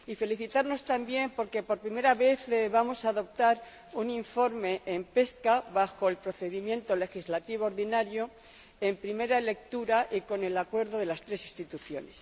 Y felicitarnos también porque, por primera vez, vamos a adoptar un informe en el ámbito de la pesca, bajo el procedimiento legislativo ordinario, en primera lectura y con el acuerdo de las tres Instituciones.